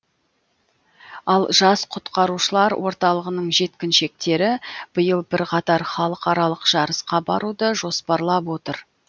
ал жас құтқарушылар орталығының жеткіншектері биыл бірқатар халықаралық жарысқа баруды жоспарлап отыр